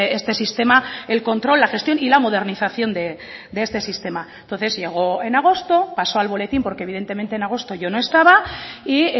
este sistema el control la gestión y la modernización de este sistema entonces llegó en agosto pasó al boletín porque evidentemente en agosto yo no estaba y